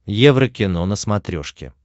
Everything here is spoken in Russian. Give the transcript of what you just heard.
еврокино на смотрешке